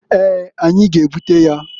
Eeǃ Anyi g'ebute ya.